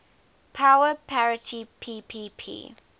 power parity ppp